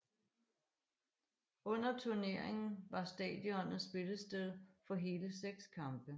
Under turneringen var stadionet spillested for hele seks kampe